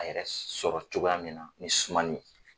A yɛrɛ sɔrɔ cogoya min na ni sumani ye.